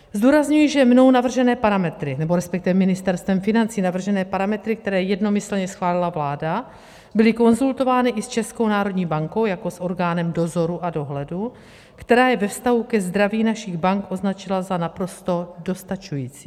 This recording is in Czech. Zdůrazňuji, že mnou navržené parametry, nebo respektive Ministerstvem financí navržené parametry, které jednomyslně schválila vláda, byly konzultovány i s Českou národní bankou jako s orgánem dozoru a dohledu, která je ve vztahu ke zdraví našich bank označila za naprosto dostačující.